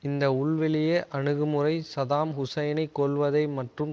இந்த உள்வெளியே அணுகு முறை சதாம் ஹூசைனைக் கொல்வதை மற்றும்